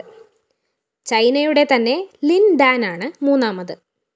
ചൈനയുടെ തന്നെ ലിന്‍ ഡാനാണ് മൂന്നാമത്